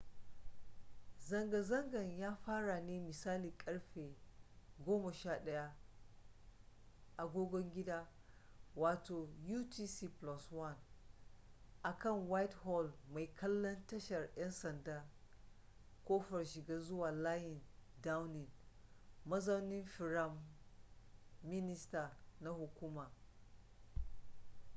zanga-zangan ya fara ne misalin ƙarfe 11:00 agogon gida utc+1 akan whitehall mai kallon tashar ‘yan sanda kofar shiga zuwa layin downing mazaunin firam minister na hukuma